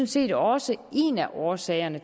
set også en af årsagerne